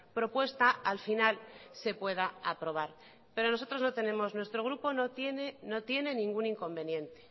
propuesta al final se pueda aprobar pero nuestro grupo no tiene ningún inconveniente